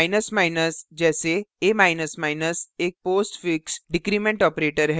जैसे a एक postfix decrement postfix decrement operator है